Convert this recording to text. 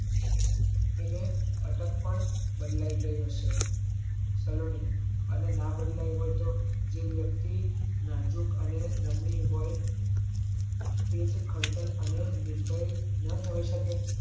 એને અટક પણ બદલાઈ ગઈ હશે સલોની અને ના બદલાઈ હોય તોહ જે વ્યક્તિ નજાક અને નામની હોય તેજ ખર્તાલ અને નીર્ડાઈ નો થઇ શકે